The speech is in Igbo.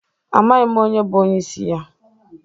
Amaghi m onye bụ onyeisi ya..